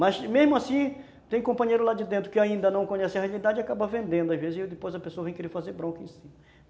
Mas mesmo assim, tem companheiro lá de dentro que ainda não conhece a realidade e acaba vendendo às vezes e depois a pessoa vem querer fazer bronca em cima.